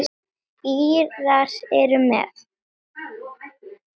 Írar eru með.